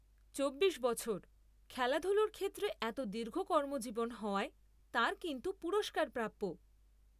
চব্বিশ বছর..খেলাধুলোর ক্ষেত্রে এত দীর্ঘ কর্মজীবন হওয়ায় তাঁর কিন্তু পুরস্কার প্রাপ্য।